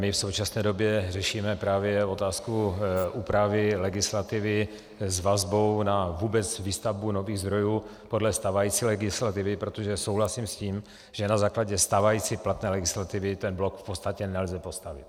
My v současné době řešíme právě otázku úpravy legislativy s vazbou na vůbec výstavbu nových zdrojů podle stávající legislativy, protože souhlasím s tím, že na základě stávající platné legislativy ten blok v podstatě nelze postavit.